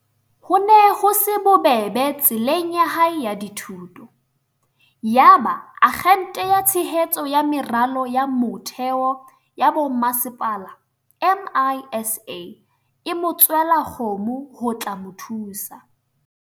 Ho ne ho se bobebe tseleng ya hae ya dithuto. Yaba Akgente ya Tshehetso ya Meralo ya Mo-theo ya Bomasepala, MISA, e mo tswela kgomo ho tla mo thusa.